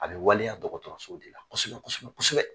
A bɛ waleya dɔgɔtɔrɔso de la kosɛbɛ kosɛbɛ kosɛbɛ.